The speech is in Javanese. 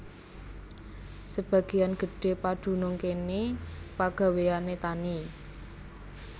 Sebagéyan gedhé padunung kéné pagawéyané tani